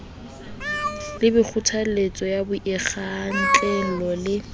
le kgothaletso ya boikgwantlello le